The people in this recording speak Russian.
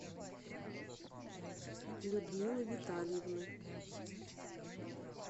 людмилы витальевны